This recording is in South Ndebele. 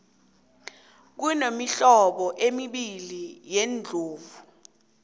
kunemihlobo embili yeendlovu